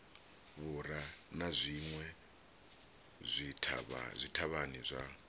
vhura na zwinwe zwithavhani zwa